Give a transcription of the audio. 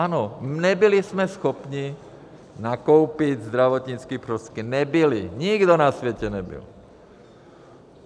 Ano, nebyli jsme schopni nakoupit zdravotnické prostředky, nebyly, nikdo na světě nebyl.